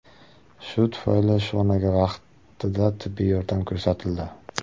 Shu tufayli Shonaga vaqtida tibbiy yordam ko‘rsatildi.